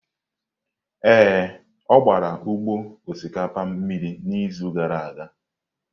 Ee, ọ gbara ugbo osikapa mmiri n'izu gara aga.